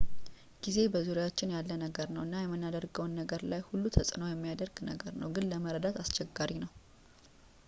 ጊዜ በዙሪያችን ያለ ነገር ነው እና የምናደርገውን ነገር ላይ ሁሉ ተጽእኖ የሚያደርግ ነገር ነው ግን ለመረዳት አስቸጋሪ ነው